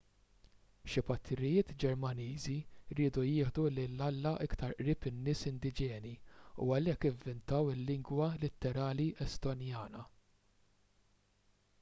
xi patrijiet ġermaniżi riedu jieħdu lil alla iktar qrib in-nies indiġeni u għalhekk ivvintaw il-lingwa litterali estonjana